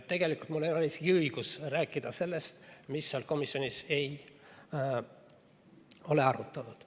Tegelikult mul ei ole isegi õigust rääkida sellest, mida seal komisjonis ei ole arutatud.